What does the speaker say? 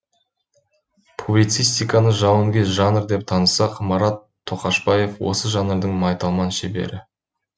публицистиканы жауынгер жанр деп танысақ марат тоқашбаев осы жанрдың майталман шебері